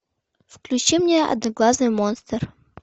включи мне одноглазый монстр